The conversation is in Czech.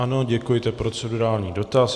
Ano, děkuji, to je procedurální dotaz.